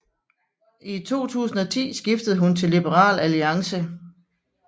I 2010 skiftede hun til Liberal Alliance